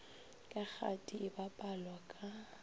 ka kgati e bapalwa ka